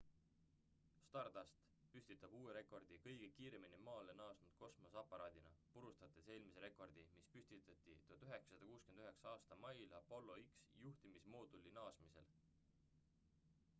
stardust püstitab uue rekordi kõige kiiremini maale naasnud kosmoseaparaadina purustades eelmise rekordi mis püstiti 1969 aasta mail apollo x-i juhtimismooduli naasemisel